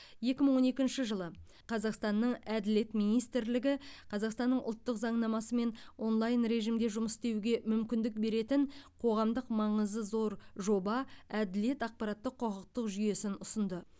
екі мың он екінші жылы қазақстаннаң әділет министрлігі қазақстанның ұлттық заңнамасымен онлайн режімде жұмыс істеуге мүмкіндік беретін қоғамдық маңызы зор жоба әділет ақпараттық құқықтық жүйесін ұсынды